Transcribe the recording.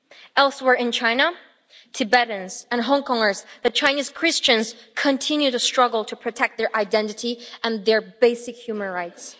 Elsewhere in China, Tibetans and Hong Kongers, the Chinese Christians continue to struggle to protect their identity and their basic human rights.